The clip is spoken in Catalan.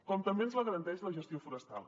com també ens la garanteix la gestió forestal